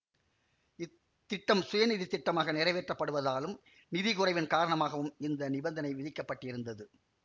இத்திட்டம் சுயநிதித் திட்டமாக நிறைவேற்றப்படுவதாலும் நிதி குறைவின் காரணமாகவும் இந்த நிபந்தனை விதிக்கப்பட்டிருந்தது